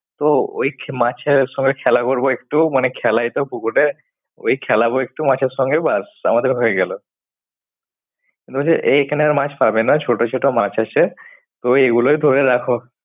তো ওই খে~ মাছের ওই সময় খেলা করব একটু মানে খেলায় তো পুকুরে, ওই খেলাব একটু মাছের সঙ্গে ব্যাস আমাদের হয়ে গেল। এই খানের মাছ পাবে না ছোট ছোট মাছ আছে তো এই গুলোই ধরে রাখ।